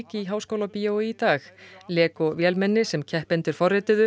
í Háskólabíói í dag Lego vélmenni sem keppendur